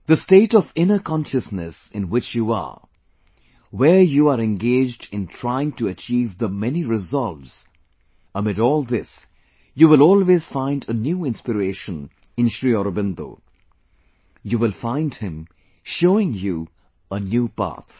The state of inner consciousness in which you are, where you are engaged in trying to achieve the many resolves, amid all this you will always find a new inspiration in Sri Aurobindo; you will find him showing you a new path